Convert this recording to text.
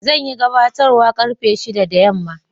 Zan yi gabatarwa karfe shida da yamma.